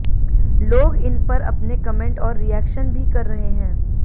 लोग इनपर अपने कमेंट और रिएक्शन भी कर रहे हैं